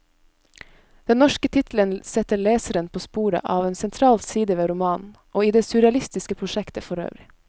Den norske tittelen setter leseren på sporet av en sentral side ved romanen, og i det surrealistiske prosjektet forøvrig.